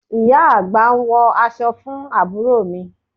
Ìyá àgbà ń wọ aṣọ fún àbúrò mi